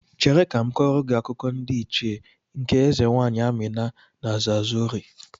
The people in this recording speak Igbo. Chere, aga m akọrọ gị akụkọ ndị Ichie nke eze nwaanyị Amina ndị Zazauri.